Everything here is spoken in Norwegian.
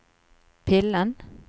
pillen